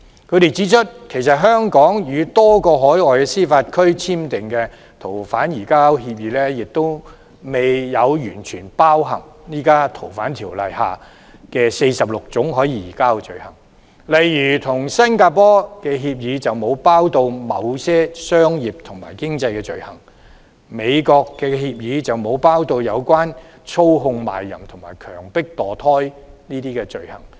他們指出，香港與多個海外司法管轄區簽訂的逃犯移交協定，亦未有完全包含現時《逃犯條例》下46種可以移交的罪類，例如跟新加坡的協定便沒有包括某些商業和經濟罪類，與美國的協定則沒有包括操控賣淫和強迫墮胎等罪類。